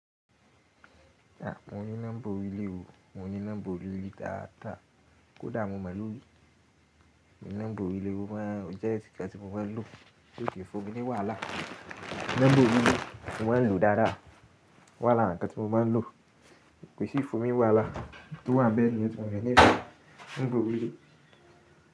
Mo ní nọ́mbà orí ilé o. Mo ní nọ́mbà orí ilé dáadáa. Kódà mo mọ̀ lórí nọ́mbà orí ilé mo máa ń o jẹ́ ẹ ti nnkan ti mo máa ń lò ti ó kì fún mi ni wàhálà. Nọ́mbà orí ilé mo maa lo dáadáa o wa lara nnkán tí mo máa ń lò kóí si fún mi n wàhálà n tó wà n bẹ́ niyẹn ti mo nífee nọ́mbà orí ilé.